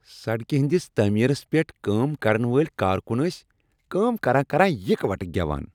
سڑکہ ہٕندس تعمیرس پیٹھ کٲم کرن وٲلۍ کارکن ٲسۍ کٲم کران کران یکوٹہٕ گیوان۔